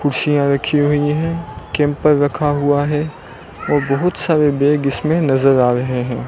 कुर्सियां रखी हुई है कैंपर रखा हुआ है वह बहुत सारे बैग इसमें नजर आ रहे हैं।